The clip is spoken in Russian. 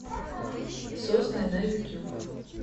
сосны на ютюб